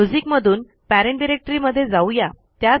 music मधून parent directory मध्ये जाऊ या